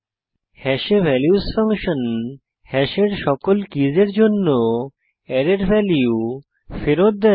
হ্যাশে values function হ্যাশের সকল কীসের জন্য অ্যারের ভ্যালু ফেরত দেয়